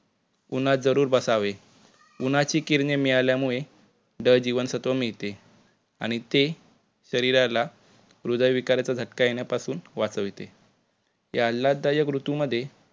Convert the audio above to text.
उन्हात जरुर बसावे. उन्हाची किरणे मिळाल्यामुळे ड-जीवनसत्व मिळते आणि ते शरीराला हृदय विकाराचा झटका येण्यापासून वाचविते. या आल्हाददायक ऋतुमध्ये